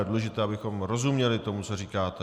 Je důležité, abychom rozuměli tomu, co říkáte.